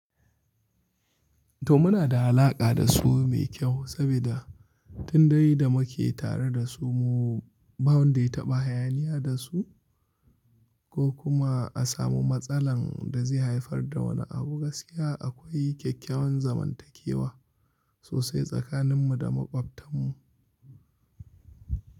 To muna da alaƙa da su mai kyau saboda tun da yi da muke tare da su mu ba wanda ya taɓa hayaniya da su ko kuma a samu matsalan da zai haifar da wani abu. Gaskiya akwai kyakkyawar zamantakewa sosai tsakanin mu da makwabtan mu.